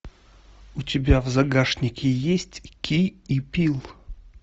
у тебя в загашнике есть ки и пил